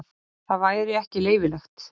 Það væri ekki leyfilegt.